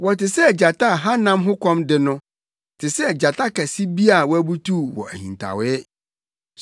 Wɔte sɛ gyata a hanam ho kɔm de no, te sɛ gyata kɛse bi a wabutuw wɔ ahintawee.